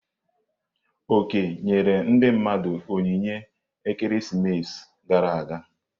Oke nyere ndi mmadu onyinye ekeresimesi gara aga.